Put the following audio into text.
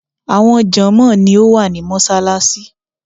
Àwọn jònmóò ni ó wà ní Mósálasí